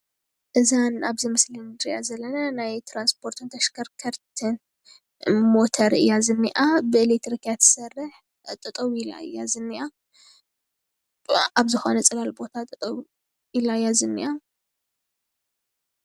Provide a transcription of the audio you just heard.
እዛ ኣብዚ ምስሊ ንሪኣ ዘለና ናይ ትራንስፖርትን ተሽከርከርትን ሞተር እያ ዝኒኣ። ብኤሌክትሪክ እያ ትሰርሕ። ጠጠው ኢላ እያ ዝኒኣ። ኣብ ዝኾነ ፅላል ቦታጠጠው ኢላ እያ ዝኒኣ።